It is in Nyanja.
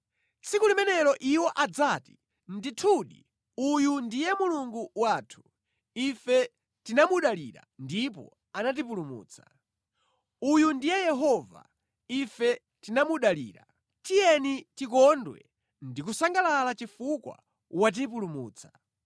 Tsiku limenelo iwo adzati, “Ndithudi, uyu ndiye Mulungu wathu; ife tinamudalira ndipo anatipulumutsa. Uyu ndiye Yehova, ife tinamudalira; tiyeni tikondwe ndi kusangalala chifukwa watipulumutsa.”